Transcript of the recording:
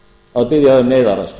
að biðja um neyðaraðstoð